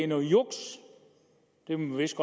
noget juks det er vist